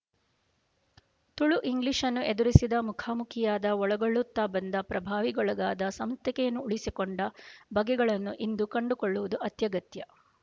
ತುಳು ಇಂಗ್ಲಿಶ್‌ನ್ನು ಎದುರಿಸಿದ ಮುಖಾಮುಖಿಯಾದ ಒಳಗೊಳ್ಳುತ್ತಾ ಬಂದ ಪ್ರಭಾವಗಳಿಗೊಳಗಾದ ಸ್ವಂತಿಕೆಯನ್ನು ಉಳಿಸಿಕೊಂಡ ಬಗೆಗಳನ್ನು ಇಂದು ಕಂಡುಕೊಳ್ಳುವುದು ಅತ್ಯಗತ್ಯ